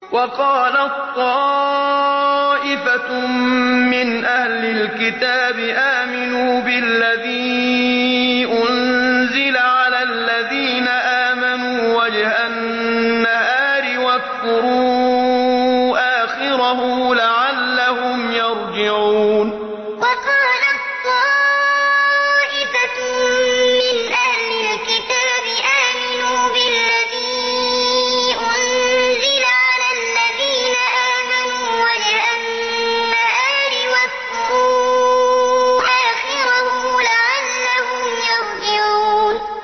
وَقَالَت طَّائِفَةٌ مِّنْ أَهْلِ الْكِتَابِ آمِنُوا بِالَّذِي أُنزِلَ عَلَى الَّذِينَ آمَنُوا وَجْهَ النَّهَارِ وَاكْفُرُوا آخِرَهُ لَعَلَّهُمْ يَرْجِعُونَ وَقَالَت طَّائِفَةٌ مِّنْ أَهْلِ الْكِتَابِ آمِنُوا بِالَّذِي أُنزِلَ عَلَى الَّذِينَ آمَنُوا وَجْهَ النَّهَارِ وَاكْفُرُوا آخِرَهُ لَعَلَّهُمْ يَرْجِعُونَ